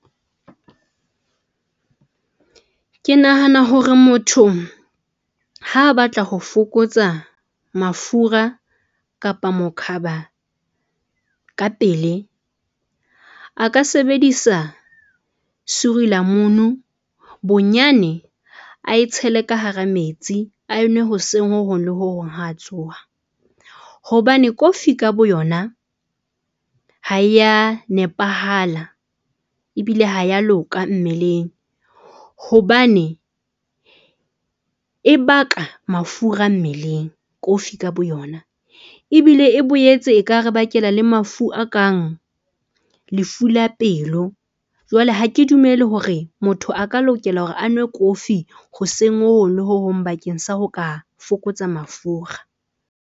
Ke nahana hore motho ha batla ho fokotsa mafura kapa mokhaba ka pele a ka sebedisa suurlemoen bonyane ae tshele ka hara metsi, a e nwe hoseng ho hong le ho hong ha a tsoha hobane kofi ka boyona ha ya nepahala. Ebile ha ya loka mmeleng hobane e baka mafura mmeleng kofi ka bo yona, ebile e boetse e ka re bakela le mafu a kang lefu la pelo. Jwale ha ke dumele hore motho a ka lokela hore a nwe kofi hoseng ho hong le ho hong bakeng sa ho ka fokotsa mafura.